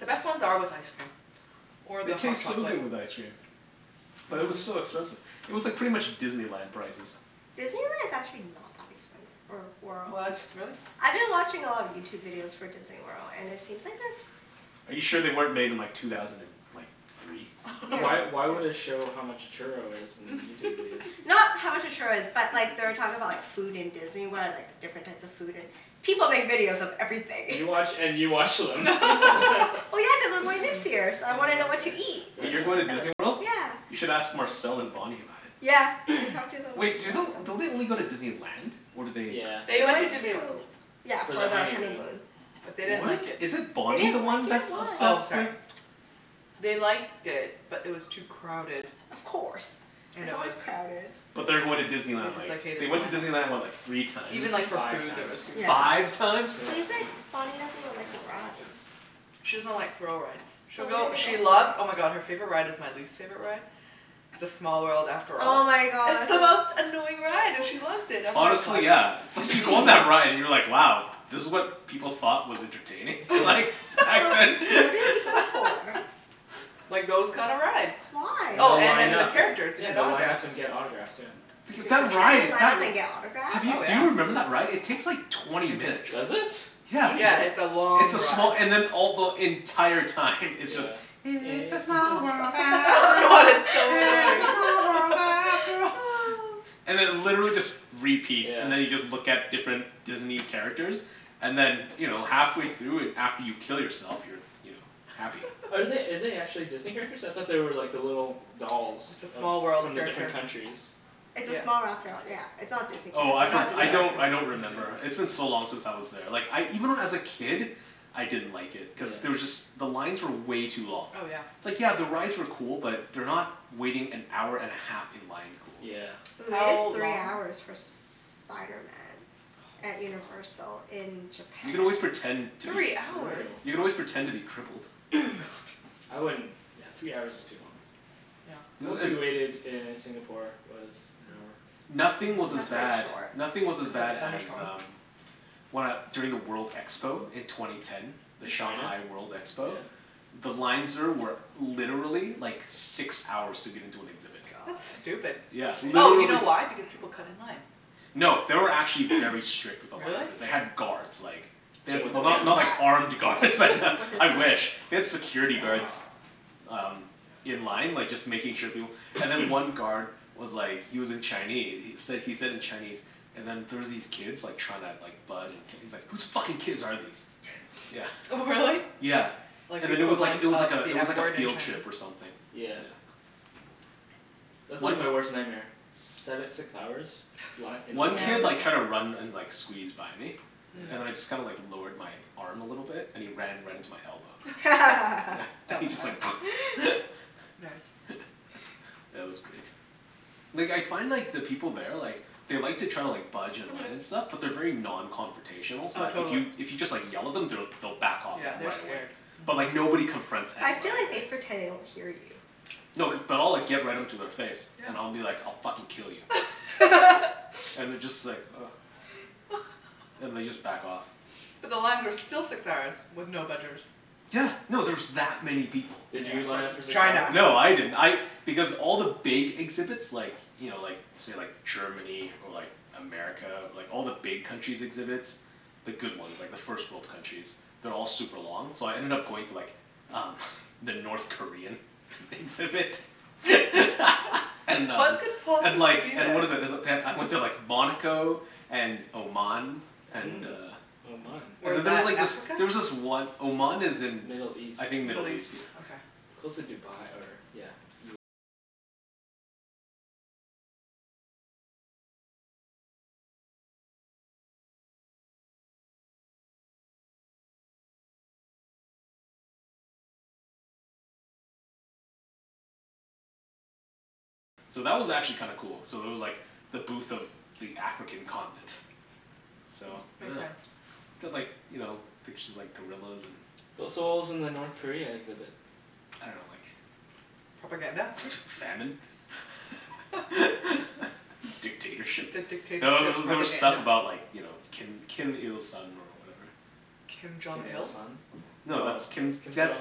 The best ones are with ice cream or the It hot tastes so chocolate. good with ice cream. But it was so expensive. It was like pretty much Disneyland prices. Disneyland is actually not that expensive or What? Really? I've been watching a lot of Youtube videos for Disney World and it seems like a Are you sure they weren't made in like two thousand and like three? Why why would it show how much a churro is in Youtube videos? Not how much a churro is but like they were talking about like food in Disney World and like different types of food and, people make videos of everything You watch and you watch them. Well, yeah, cuz I'm going next year so I Oh wanna know what to okay, eat fair Wait, enough you're going to Disney World? You Yeah should ask Marcel and Bonny about it. Yeah, I've talked to them Wait, do lots of the- don't they only go to Disneyland? Or do they Yeah, They They Disney went to went Land. Disney to, World. yeah For their For their honeymoon. honeymoon. But they didn't What is, like it is it They Bonny the didn't like one it, that's why? Oh obsessed sorry. with They liked it but it was too crowded Of course, it's always crowded But they are going to Disney They Land just like, like hated they the went to line up Disney so. Land, what, like, three times? Even like for Five food there was times huge line Five ups. times? Yeah. He's like, Bonny doesn't even like the rides. She doesn't like thrill rides. So She'll what go, did they go she for? loves, oh my god, her favorite ride is my least favorite ride, "It's a small world after Oh all." my It's god. the most annoying ride and she loves it. I'm like Honestly yeah, it's like you go on that ride and you're like wow, this was what people thought was entertaining? Like, back So then? what did they go for? Like those kinda rides. Why? And Oh they'll and line then the up and characters, you yeah, get and they'll line autographs. up and get autographs, yeah. That's it? Line up and get autographs? Oh Do yeah. you remember that ride? It takes like twenty minutes. Does it? Yeah, Twenty Yeah, minutes? it's a it's long a small, ride. and then all the, the entire time it's just, "It's a small world Oh after god, all, it's so it's a annoying. small world after all." And it literally just repeats. Yeah And then you just look at different Disney characters and then you know, halfway through and after you kill yourself you're, you know, happy. Are they, are they actually Disney characters? I thought they were like the little dolls. It's a Of, small world from the character. different countries It's a small world after all yeah, it's not Disney Oh I characters. for- I don't, I don't Yeah remember. It's been yeah yeah so long since I was there, like I even when I was a kid, I didn't like it. Cuz Yeah there was just, the lines were way too long. Oh yeah It's like yeah the rides were cool but they're not waiting-an-hour-and-a-half-in-line cool. Yeah We waited How three long hours for Spiderman Oh at my god Universal in You can always japan. pretend to be Three That's hours?! You can brutal. always pretend to be crippled. I wouldn't, yeah, three hours is too long. Yeah. Most we waited in Singapore was an hour. Nothing was as bad, nothing was as bad as um, when I, during the world expo in twenty ten. The In China? Shanghai World expo. Yeah The lines there were literally like six hours to get into an exhibit. That's God. stupid Yeah, Oh you know literally. why, because people cut in line. No, they were actually very strict with the lines Really? there. They had guards like They had, With Jason well went not to not guns? like that. armed guards but What? With his I wish. family They had security guards um in line like just making sure people, and then one guard was like he was in Chine- he said he said in Chinese and then there was these kids like trying to like bud- and he's like "Who's fucking kids are these," yeah. Really? Yeah, Like the and then it was like equivalent it was like of a the it was F like a word in field trip or Chinese something. Yeah That's like my worst nightmare, seve- six hours, li- in a One line up kid like tried to run and and like squeeze by me, and I just kinda like lowered my arm a little bit and he ran right into my elbow. And he just like Dumbass Nice Yeah, that was great. Like I find like the people there like they like to try to like budge in line and stuff but they're very non-confrontational so Oh like if totally. you, if you just like yell at them they'll back off like Yeah. They're right away. scared. But like nobody confronts I feel anybody, like they right? pretend they don't hear you. No, cuz, but I'll like get right into their face Yeah and I'll be like, "I'll fucking kill you." And they just like ugh, and they just like back off. But the lines are still six hours with no budgers. Yeah, no, there's that many people. Did Yeah you of course line up for it's the crowd or China. something? No, I didn't, I, because all the big exhibits like you know, like say, like Germany or like America or like all the big countries' exhibits, the good ones, like the first world countries, they're all like super long so I ended up going to like um the North Korean exhibit and uh What could And possibly like, be and there? what is it, is it, they- I went to like Monaco and Oman. And Mm. uh Oman. Where's There's that, like this, Africa? there was this one, Oman is in Middle East I think Middle Middle East, East? yeah. Okay. So that was actually kinda cool. So there was like the booth of the African continent. So, Makes sense. They had like, you know, pictures of like gorillas and W- so what was in the North Korea exhibit? I dunno, like Propaganda? Famine? Dictatorship? The No, there dictatorship were there were stuff propaganda? about like you know, Kim Kim Il Sung or whatever. Kim Jong Kim Il Il? Sung? No, that's Kim, that's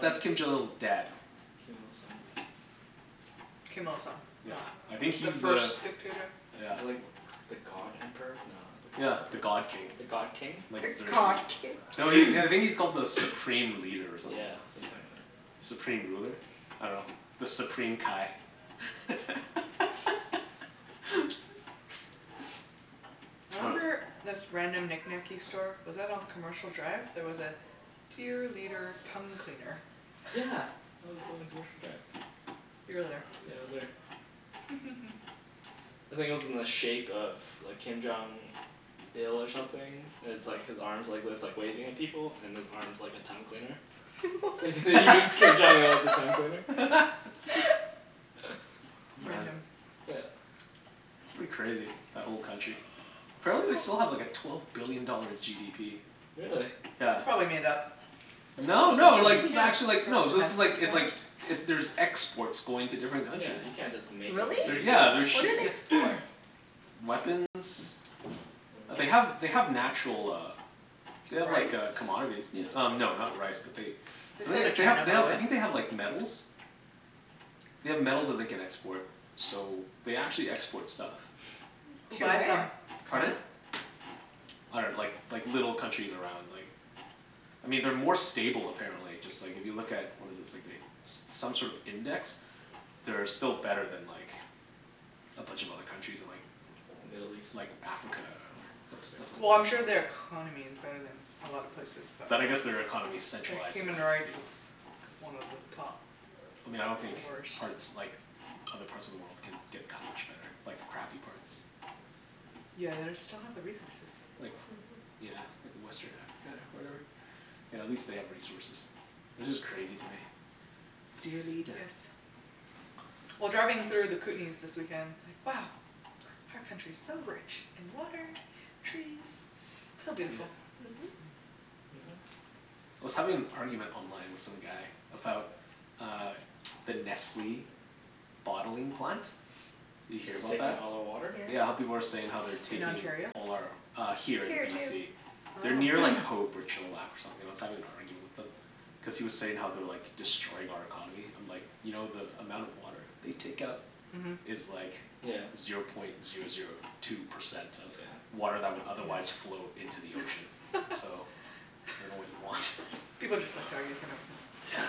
that's Kim Jong Il's dad. Kim Il Sung. Kim Il Sung. Yeah, No. I think The he's the first dictator? Yeah. He's like the god emperor? No, not the god Yeah, the emperor. god king. The god king? The god king? No, he, I think he's called the supreme leader or something Yeah. like that. Something like that. Supreme ruler? I dunno. The Supreme Kai. I remember this random knickknacky store, was that on Commercial Drive? There was a "Dear Leader Tongue Cleaner". Yeah, that was on Commercial Drive. You were there. Yeah, I was there. I think it was in the shape of like Kim Jong Il or something, and it's like his arms are like this, like waving at people and his arm's like a tongue cleaner. You use Kim Jong what? Il as a tongue cleaner. Amazing. Yeah It's pretty crazy, that whole country. Apparently they still have like a twelve billion dollar GDP. Really? Yeah. That's probably made up. No, No, no, like, you this is can't, actually like, no this is like, it like, it, there's exports going to different yeah, countries. you can't just make up a Really? They're, GDP. yeah, they're What do ship- they yeah export? Weapons, like they have, they have natural uh They have like Rice? uh commodities y- um no not rice but they, They I sell to think they, they China have, they have, I probably. think they have like metals. They have metals that they can export so they actually export stuff. Who To buys where? them? Pardon? I dunno, like like little countries around like, I mean they're more stable apparently, just like if you look at what is it, it's like they, some sort of index, they're still better than like a bunch of other countries in like Middle east? Like Africa, or some, stuff like Well I'm sure they are economy is better than a lot of places but But I guess their economy is Their centralized and human like, you rights know is one of the top I mean I don't think worst. parts, like other parts of the world can get that much better, like the crappy parts. Yeah, they just don't have the resources. Like, yeah like western Africa or whatever. Yeah, at least they have resources. It's just crazy to me. Dear leader Yes. Well, driving through the Kootenays this weekend, it's like, wow, our country's so rich in water, trees, so Yeah. beautiful. Mhm. I was having an argument online with some guy about uh the Nestle bottling plant. You hear It's about that? taking all their water? Yeah, how people are saying they're In taking Ontario? all our uh Here, in Here too. BC. They're Oh near like Hope or Chilliwack or something. I was having an argument with him. Cuz he was saying how they're like destroying our economy, I'm like, "You know the amount of water they take out" Mhm "Is like" Yeah "Zero point zero zero two percent of" Yeah "Water that would otherwise flow into the ocean." "So, I dunno what you want." People just like to argue for no reason. Yeah.